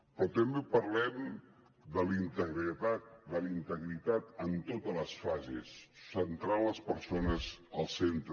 però també parlem de la integritat en totes les fases centrant les persones al centre